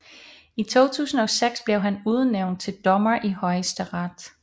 I 2006 blev han udnævnt til dommer i Højesteret